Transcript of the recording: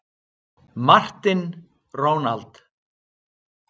Martin, Ronald.